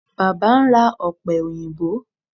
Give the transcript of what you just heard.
Baba n ra ope oyinbo